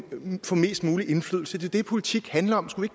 få mest mulig indflydelse det er det politik handler om skulle